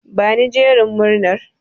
Bani jerin murnar.